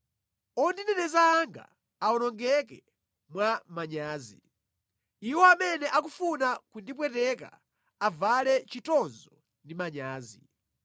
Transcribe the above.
Ondineneza anga awonongeke mwa manyazi, iwo amene akufuna kundipweteka avale chitonzo ndi manyazi.